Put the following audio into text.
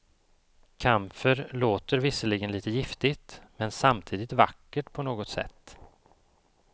Kamfer låter visserligen lite giftigt, men samtidigt vackert på något sätt.